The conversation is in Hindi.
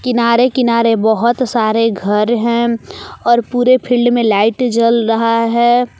किनारे-किनारे बहुत सारे घर है। और पुरे फील्ड में लाइट जल रहा है।